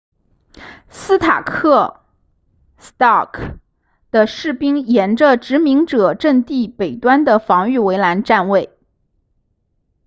斯塔克 stark 的士兵沿着殖民者阵地北端的防御围栏站位